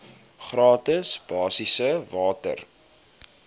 gratis basiese water